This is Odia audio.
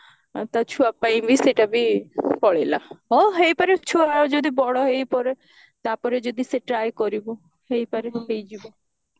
ତା ଛୁଆ ପାଇଁ ବି ସେଇଟା ବି ପଳେଇଲା ହଁ ହେଇପାରେ ଛୁଆ ବଡ ହେଇଗଲା ପରେ ଯଦି ସେ try କରିବ ହେଇପାରେ ହେଇଯିବ